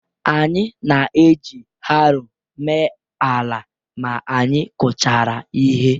Anyị na-eji haroo mee ala ma anyị kụchara ihe.